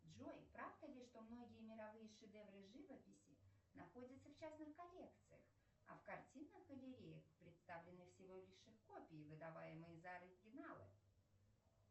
джой правда ли что многие мировые шедевры живописи находятся в частных коллекциях а в картинных галереях представлены всего лишь их копии выдаваемые за оригиналы